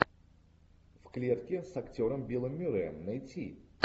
в клетке с актером биллом мюрреем найти